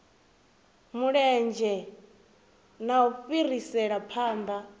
mulenzhe na u fhirisela phanḓa